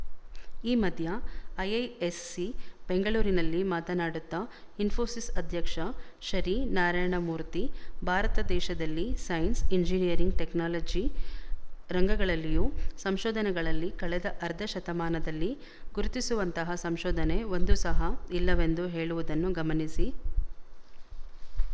ಈ ಮಧ್ಯ ಐಐಎಸ್ಸಿ ಬೆಂಗಳೂರಿನಲ್ಲಿ ಮಾತನಾಡುತ್ತಾ ಇನ್ಫೋಸಿಸ್ ಅಧ್ಯಕ್ಷ ಶರೀ ನಾರಾಯಣಮೂರ್ತಿ ಭಾರತ ದೇಶದಲ್ಲಿ ಸೈನ್ಸ್ ಇಂಜಿನೀಯರಿಂಗ್ ಟೆಕ್ನಾಲಜಿ ರಂಗಗಳಲ್ಲಿಯು ಸಂಶೋಧನೆಗಳಲ್ಲಿ ಕಳೆದ ಅರ್ಧ ಶತಮಾನದಲ್ಲಿ ಗುರುತಿಸುವಂತಹ ಸಂಶೋಧನೆ ಒಂದು ಸಹ ಇಲ್ಲವೆಂದು ಹೇಳುವುದನ್ನು ಗಮನಿಸಿ